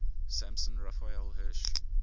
samson raphael hirsch